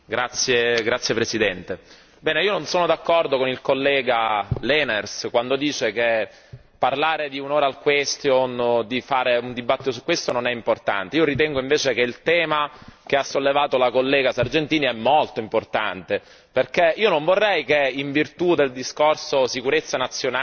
Signora Presidente, onorevoli colleghi, io non sono d'accordo con il collega Lenaers quando dice parlare di un'interrogazione orale o di fare un dibattito su questo non è importante. Io ritengo invece che il tema che ha sollevato la collega Sargentini è molto importante, perché io non vorrei che in virtù del discorso sicurezza nazionale